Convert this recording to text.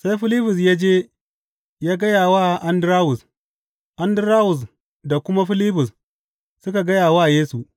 Sai Filibus ya je ya gaya wa Andarawus, Andarawus da kuma Filibus suka gaya wa Yesu.